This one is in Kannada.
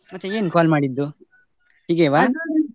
ಮತ್ತೆ ಏನ್ call ಮಾಡಿದ್ದು, .